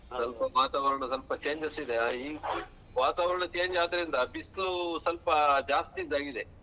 ಸ್ವಲ್ಪ ವಾತಾವರಣ ಸ್ವಲ್ಪ changes ಇದೆ ಈ ವಾತಾವರಣ change ಆದ್ರಿಂದ ಬಿಸ್ಲು ಸ್ವಲ್ಪ ಜಾಸ್ತಿ ಇದ್ದಾಗ್ ಇದೆ.